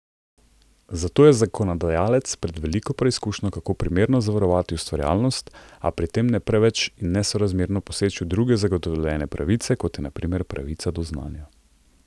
Zato je zakonodajalec pred veliko preizkušnjo, kako primerno zavarovati ustvarjalnost, a pri tem ne preveč in nesorazmerno poseči v druge zagotovljene pravice, kot je na primer pravica do znanja.